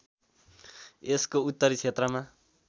यसको उत्तरी क्षेत्रमा